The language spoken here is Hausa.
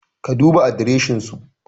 Ka duba adreshin su